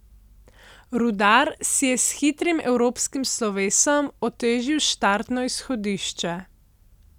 Rudar si je s hitrim evropskim slovesom otežil štartno izhodišče.